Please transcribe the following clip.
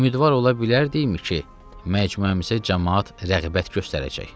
Ümidvar ola bilərdikmi ki, məcmuəmsə camaat rəğbət göstərəcək.